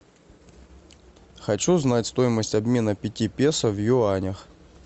хочу знать стоимость обмена пяти песо в юанях